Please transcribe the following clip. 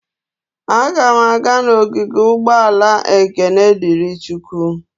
Aga m aga n'ogige ụgbọala Ekene Diri Chukwu.